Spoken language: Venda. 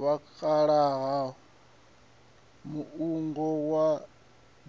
vhakalaha muungo wa